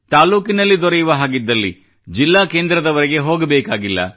ತಾಲ್ಲೂಕಿನಲ್ಲಿ ದೊರೆಯುವ ಹಾಗಿದ್ದಲ್ಲಿ ಜಿಲ್ಲಾ ಕೇಂದ್ರದವರೆಗೆ ಹೋಗಬೇಕಾಗಿಲ್ಲ